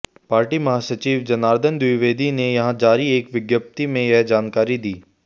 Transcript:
party महासचिव जनार्दन द्विवेदी ने यहां जारी एक विज्ञप्ति में यह जानकारी दी